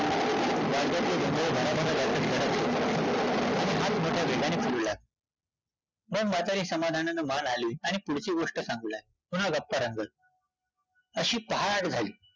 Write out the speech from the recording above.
मग म्हातारी समाधानानं मान हलवीत आणि पुढची गोष्ट सांगू लागली, पुन्हा गप्पा रंगल्या, अशी पहाट झाली